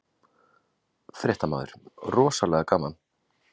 Fréttamaður: Rosalega gaman?